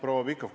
Aitäh!